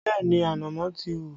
Bẹẹ ni, ànámọ́ ti hù